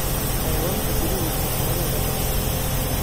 Xayawaanka guduhu waa xoolo la dhaqdo.